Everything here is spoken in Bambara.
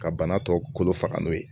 Ka bana tɔ kolo faga n'o ye